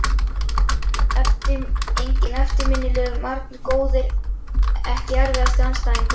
Enginn eftirminnilegur, margir góðir Ekki erfiðasti andstæðingur?